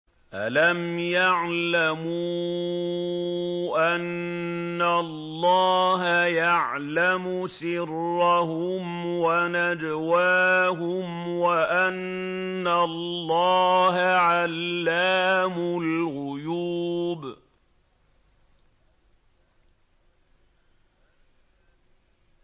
أَلَمْ يَعْلَمُوا أَنَّ اللَّهَ يَعْلَمُ سِرَّهُمْ وَنَجْوَاهُمْ وَأَنَّ اللَّهَ عَلَّامُ الْغُيُوبِ